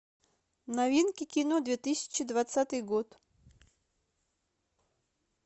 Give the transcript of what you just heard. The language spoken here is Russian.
новинки кино две тысячи двадцатый год